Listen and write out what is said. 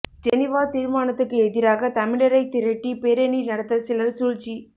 ஜெனிவாத் தீர்மானத்துக்கு எதிராக தமிழரை திரட்டி பேரணி நடத்தச் சிலர் சூழ்ச்சி